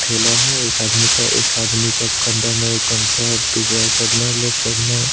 ठेला है एक आदमी का एक आदमी का कंधा में गमछा बिछा है साइड में लेफ्ट साइड में --